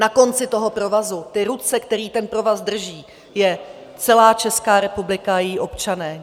Na konci toho provazu, ty ruce, které ten provaz drží, je celá Česká republika a její občané.